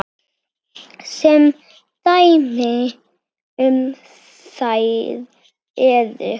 Sem dæmi um þær eru